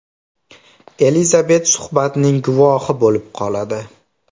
Elizabet suhbatning guvohi bo‘lib qoladi.